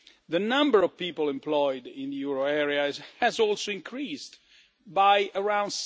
The number of people employed in the euro area has also increased by around